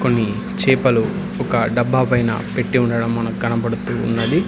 ఈ చేపలు ఒక డబ్బా పైన పెట్టి ఉండటం మనకు కనబడుతూ ఉన్నది.